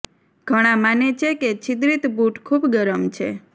ઘણા માને છે કે છિદ્રિત બુટ ખૂબ ગરમ છે